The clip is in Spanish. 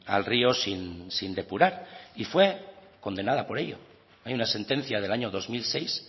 al río sin depurar y fue condenada por ello hay una sentencia del año dos mil seis